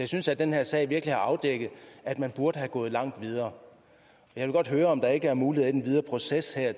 synes at den her sag virkelig har afdækket at man burde have gået langt videre jeg vil godt høre om der ikke er mulighed i den videre proces